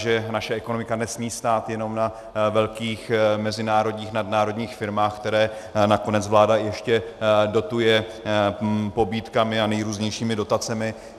Že naše ekonomika nesmí stát jenom na velkých mezinárodních, nadnárodních firmách, které nakonec vláda ještě dotuje pobídkami a nejrůznějšími dotacemi.